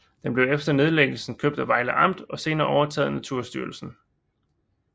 Den blev efter nedlæggelsen købt af Vejle Amt og senere overtaget af Naturstyrelsen